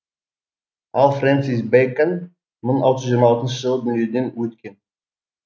ал френсис бэкон мың алты жүз жиырма алтыншы жылы дүниеден өткен